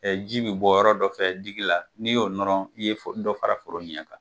ji bɛ bɔ yɔrɔ dɔ fɛ digi la, n'i y'o nɔrɔ i ye dɔ fara foro ɲɛ kan.